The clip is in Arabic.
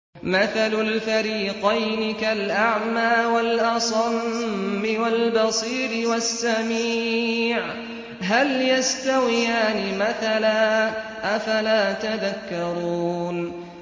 ۞ مَثَلُ الْفَرِيقَيْنِ كَالْأَعْمَىٰ وَالْأَصَمِّ وَالْبَصِيرِ وَالسَّمِيعِ ۚ هَلْ يَسْتَوِيَانِ مَثَلًا ۚ أَفَلَا تَذَكَّرُونَ